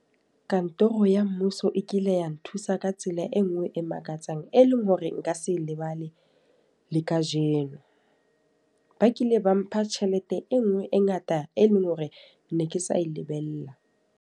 Kantoro ya mmuso e kile ya nthusa ka tsela e nngwe e makatsang, e leng hore nka se lebale le ka jeno. Ba kile ba mpha tjhelete e nngwe e ngata, e leng hore ne ke sa e lebelela.